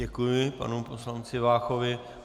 Děkuji panu poslanci Váchovi.